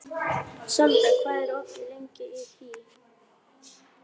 Við vildum ólmir fara með honum en hann þráaðist við.